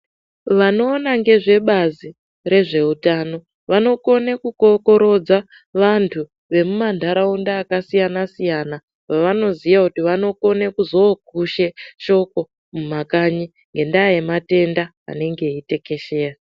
Vanoona ngezvebazi rezveutano vanokone kukorokodza vantu vemumantaraunda akasiyana siyana vavanoziya kuti vanozokone kokushe shoko mumakanyi ngendaa yematenda anenge eitekeshera.